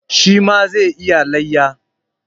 Shi ma zai yi layya.